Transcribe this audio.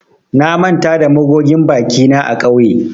Na manta da magogin bakina a kauye